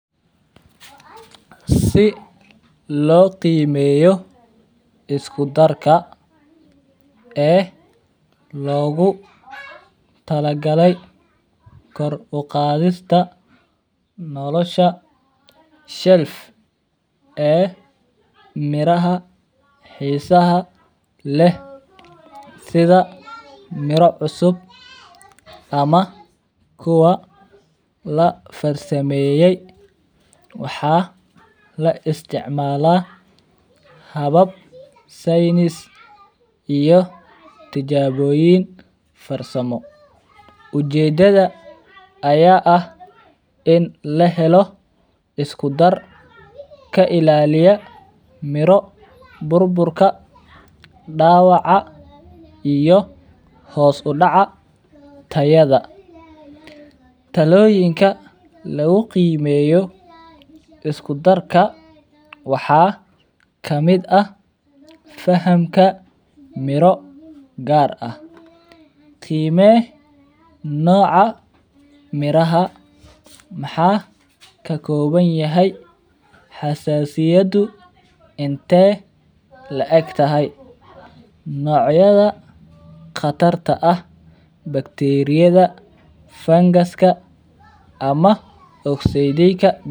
Si loo qiimeyo isku darka ee loogu tala galay kor uqaadista nolosha shelf ee miraha xiisaha leh sida miro cusub ama kuwa la farsameeye, waxaa la isticmaala habab saynis iyo tilaboyin farsamo, ujeedada ayaa ah in la helo isku dar ka ilaaliya miro burburka, dawaca iyo hoos udaca tayada, talloyinka lagu qiimeyo isku darka waxaa kamid ah fahamka, miro gaar ah, qiime nooca miraha, maxaa ka koban yahay, xasasiyadu intee la eg tahay, noocyada qatarta ah, bakteriyada, fangaska, ama okseydiga.